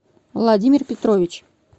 владимир петрович